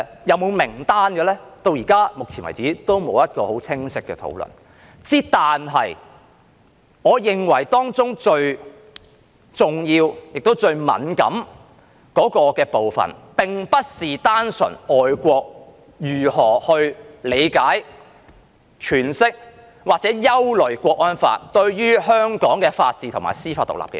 有否名單呢？截止目前為止，仍然沒有一個很清晰的討論；但我認為當中最重要及最敏感的部分並非純粹外國如何理解、詮釋或憂慮《香港國安法》對香港法治及司法獨立的影響。